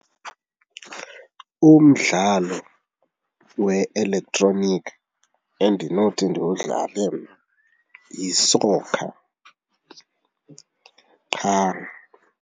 Umdlalo we-electronic endinothi ndiwudlale mna yisokha qha.